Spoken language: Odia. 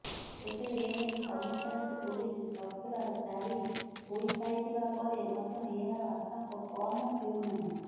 ତେବେ ଏନେଇ କମିଶନରେଟ ପୋଲିସ ସକୁର୍ଲାର ଜାରି ହୋଇସାଇଥିବା ପରେ ମଧ୍ୟ ଏହାର ଆତଙ୍କ କମ ହେଉନାହିଁ